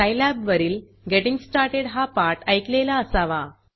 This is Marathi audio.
सायलॅब वरील गेटिंग स्टार्टेड हा पाठ ऐकलेला असावा